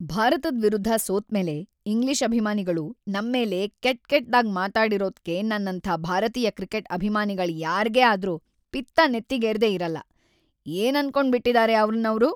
ಭಾರತದ್ ವಿರುದ್ಧ ಸೋತ್ಮೇಲೆ ಇಂಗ್ಲಿಷ್ ಅಭಿಮಾನಿಗಳು ನಮ್ಮೇಲೆ ಕೆಟ್ಕೆಟ್ದಾಗ್‌ ಮಾತಾಡಿರೋದ್ಕೆ ನನ್ನಂಥ ಭಾರತೀಯ ಕ್ರಿಕೆಟ್ ಅಭಿಮಾನಿಗಳ್‌ ಯಾರ್ಗೇ ಆದ್ರೂ ಪಿತ್ತ ನೆತ್ತಿಗೇರ್ದೇ ಇರಲ್ಲ! ಏನನ್ಕೊಂಡ್ಬಿಟಿದಾರೆ ಅವ್ರ್ನ್ ಅವ್ರು!